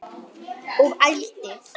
Og ældi.